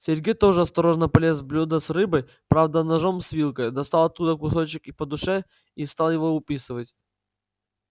сергей тоже осторожно полез в блюдо с рыбой правда ножом с вилкой достал оттуда кусочек и по душе и стал его уписывать